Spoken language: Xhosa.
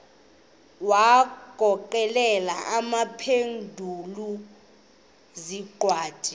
wagokelela abaphengululi zincwadi